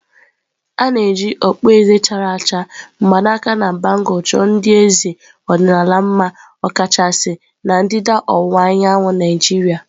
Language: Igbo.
A na-eji okpueze chara acha, mgbaaka na bangulu chọọ ndị eze ọdịnala mma ọkachasị na ndịda ọwụwa anyanwụ Naijiria.